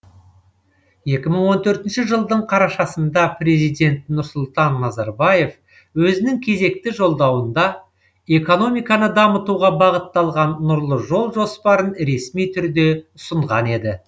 екі мың он төртінші жылдың қарашасында президент нұрсұлтан назарбаев өзінің кезекті жолдауында экономиканы дамытуға бағытталған нұрлы жол жоспарын ресми түрде ұсынған еді